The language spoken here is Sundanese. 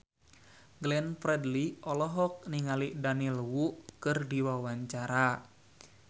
Glenn Fredly olohok ningali Daniel Wu keur diwawancara